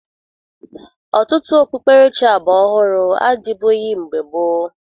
Ọtụtụ okpukperechi agbaọhụrụ adịbụghi mgbe gboo